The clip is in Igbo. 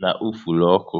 na ufuru ọkụ